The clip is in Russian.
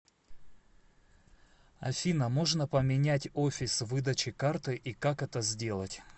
афина можно поменять офис выдачи карты и как это сделать